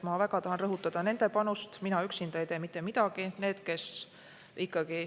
Ma väga tahan rõhutada nende panust, mina üksinda ei tee mitte midagi.